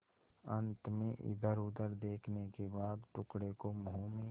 अंत में इधरउधर देखने के बाद टुकड़े को मुँह में